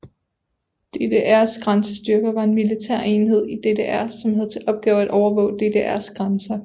DDRs grænsestyrker var en militær enhed i DDR som havde til opgave at overvåge DDRs grænser